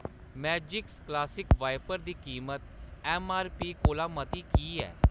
Magics classic wiper दी कीमत MRP कोला मती की ऐ?